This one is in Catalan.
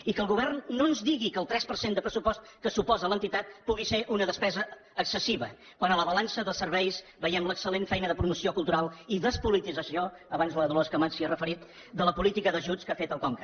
i que el govern no ens digui que el tres per cent de pressupost que suposa l’entitat pugui ser una despesa excessiva quan a la balança de serveis veiem l’excel·lent feina de promoció cultural i despolitització abans la dolors camats s’hi ha referit de la política d’ajuts que ha fet el conca